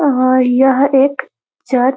और यह एक चर --